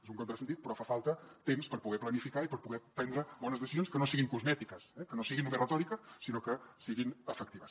és un contrasentit però fa falta temps per poder planificar i per poder prendre bones decisions que no siguin cosmètiques que no siguin només retòrica sinó que siguin efectives